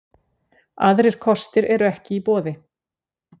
Aðrir kostir eru ekki í boði